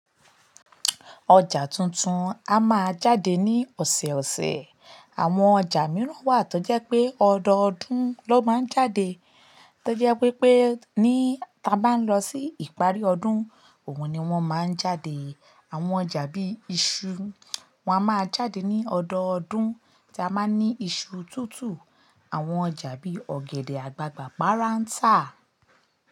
Ọjà tuntun a máa jáde ní ọ̀sẹ̀ẹ̀ ọ̀sẹ̀. Àwọn ọjà mìíràn wà tó jẹ́ pé ọdọọdún ló máa ń jáde. Tojẹ́ wi pé ní ta bá lọ sí ìparí ọdún, òun ni wọ́n máa ń jáde. Àwọn ọjà bíi iṣu, wọn a máa jáde ní ọdọọdún. Ti a máa ń ní iṣu tútù. Àwọn ọjà bí i ọ̀gẹ̀dẹ̀ àgbagbà, pàràńtà.